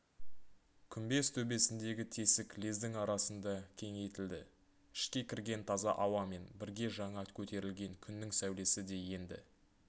күмбез төбесіндегі тесік лездің арасында кеңейтілді ішке кірген таза ауамен бірге жаңа көтерілген күннің сәулесі де енді